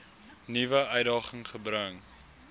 nuwe uitdaging gebring